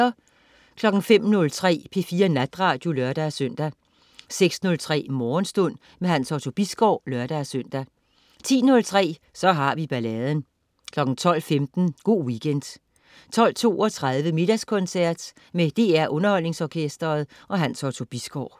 05.03 P4 Natradio (lør-søn) 06.03 Morgenstund. Hans Otto Bisgaard (lør-søn) 10.03 Så har vi balladen 12.15 Go' Weekend 12.32 Middagskoncert. Med DR Underholdningsorkestret. Hans Otto Bisgaard